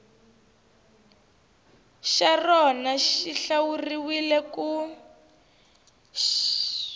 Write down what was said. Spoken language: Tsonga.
xa rona xi hlawuriwile ku